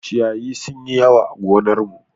Ciyayi sun yi yawa a gonar mu.